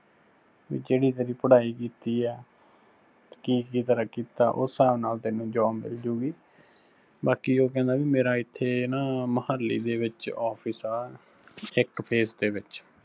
ਵੀ ਜਿਹੜੀ ਤੇਰੀ ਪੜ੍ਹਾਈ ਕੀਤੀ ਆ, ਕੀ ਕੀ ਤੇਰਾ ਕੀਤਾ ਉਸ ਹਿਸਾਬ ਨਾਲ ਤੈਨੂੰ job ਮਿਲਜੂਗੀ, ਬਾਕੀ ਉਹ ਕਹਿੰਦਾ ਵੀ ਮੇਰਾ ਇੱਥੇ ਨਾ ਮੁਹਾਲੀ ਦੇ ਵਿੱਚ office ਆ ਇੱਕ phase ਦੇ ਵਿੱਚ।